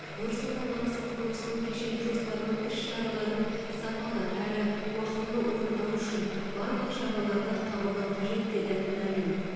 нұр сұлтан қаласы құрылысының кешенді жоспарының іс шараларын сапалы әрі уақытылы орындау үшін барлық шараларды қабылдау қажет деді мамин